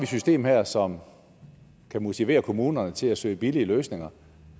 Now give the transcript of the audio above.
system her som kan motivere kommunerne til at søge billigere løsninger